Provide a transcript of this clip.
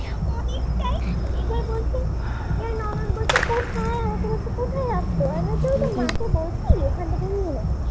আরো তো থাকতো আমি ভাবছি মাকে বলছি ওখান থেকে নিয়ে নাও